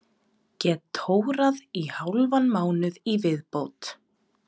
Get tórað í hálfan mánuð í viðbót.